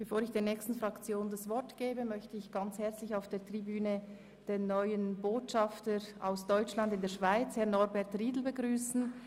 Bevor ich der nächsten Fraktion das Wort erteile, möchte ich auf der Tribüne ganz herzlich den neuen Botschafter aus Deutschland in der Schweiz, Dr. Norbert Riedel, begrüssen.